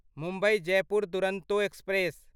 Mumbai Jaipur Duronto express